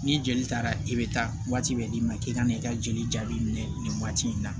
Ni joli taara e bɛ taa waati bɛɛ d'i ma k'i ka n'i ka joli jaabi minɛ nin waati in na